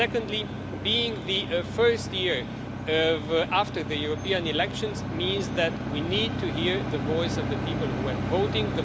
Secondly, being the first year after the European elections means that we need to hear the voice of the people who were voting.